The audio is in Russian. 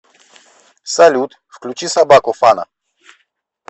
салют включи собаку фана